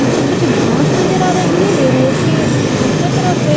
मुझे कुछ घास नजर आ रही है जो रोड के दूसरे तरफ है।